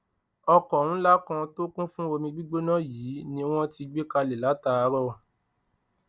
ọkọ ńlá kan tó kún fún omi gbígbóná yìí ni wọn ti gbé kalẹ látàárọ